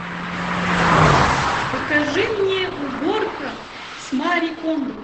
покажи мне уборка с мари кондо